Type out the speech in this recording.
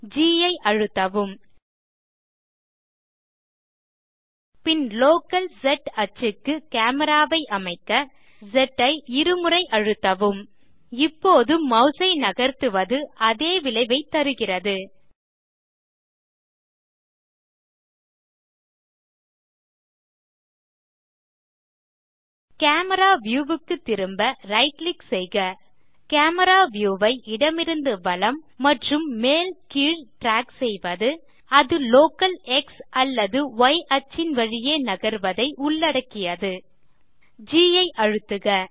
G ஐ அழுத்தவும் பின் லோக்கல் ஸ் ஆக்ஸிஸ் க்கு காமரா ஐ அமைக்க ஸ் ஐ இருமுறை அழுத்தவும் இப்போது மாஸ் ஐ நகர்த்துவது அதே விளைவைத் தருகிறது கேமரா வியூ க்கு திரும்ப ரைட் கிளிக் செய்க கேமரா வியூ ஐ இடமிருந்து வலம் மற்றும் மேல் கீழ் ட்ராக் செய்வது அது local X or Y axes ன் வழியே நகர்வதை உள்ளடக்கியது ஜி ஐ அழுத்துக